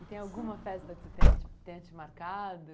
E tem alguma festa que você tenha te tenha te marcado?